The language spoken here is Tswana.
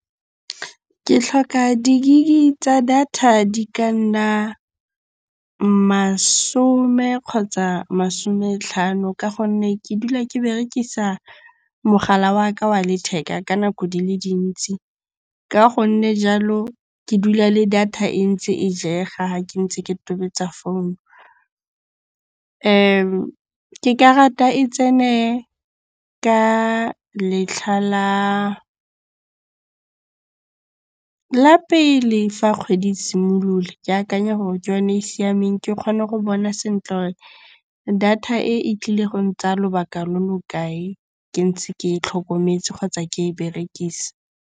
Ke tlhoka di-gig-e tsa data di ka nna masome kgotsa masome tlhano ka gonne ke dula ke berekisa mogala wa ka wa letheka ka nako di le dintsi. Ka gonne jalo ke dula le data e ntse e jega ha ke ntse ke tobetsa founu. Ke ka rata e tsene ka letlha la pele fa kgwedi e simolola. Ke akanya gore ke yone e e siameng. Ke kgone go bona sentle gore data e e tlile go ntsaya lobaka lo lo kae ke ntse ke e tlhokometse kgotsa ke e berekisa.